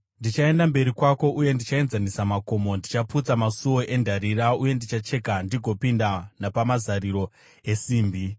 Ndichaenda mberi kwako uye ndichaenzanisa makomo; ndichaputsa masuo endarira uye ndichacheka ndigopinda napamazariro esimbi.